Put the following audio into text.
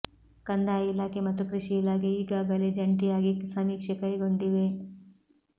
ಕಂದಾಯ ಇಲಾಖೆ ಮತ್ತು ಕೃಷಿ ಇಲಾಖೆ ಈಗಾಗಲೇ ಜಂಟಿಯಾಗಿ ಸಮೀಕ್ಷೆ ಕೈಗೊಂಡಿವೆ